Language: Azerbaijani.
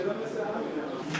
Normal olmur həminə.